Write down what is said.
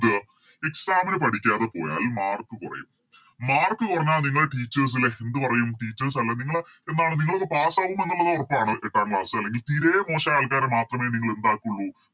Exam ന് പഠിക്കാതെ പോയാൽ Mark കൊറയും Mark കൊറഞ്ഞാൽ നിങ്ങള് Teachers ലെ എന്ത് പറയും Teachers അല്ലെ നിങ്ങള് എന്താണ് നിങ്ങളൊക്കെ Pass ആകും എന്നുള്ളത് ഒറപ്പാണ് എട്ടാം Class അല്ലെങ്കി തീരെ മോശയ ആൾക്കാരെ മാത്രമേ നിങ്ങളെന്തക്കൂള്ളൂ